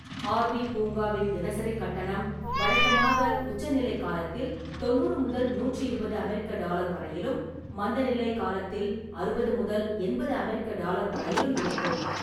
ஆர்.வி.பூங்காவின் தினசரி கட்டணம் வழக்கமாக உச்சநிலைக் காலத்தில் தொன்னூறு முதல் நூற்றி இருபது அமெரிக்க டாலர் வரையிலும், மந்தநிலை காலத்தில் அறுபது முதல் எண்பது அமெரிக்க டாலர் வரையிலும் இருக்கும்.